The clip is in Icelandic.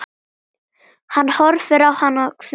Hann horfir á hana hvumsa.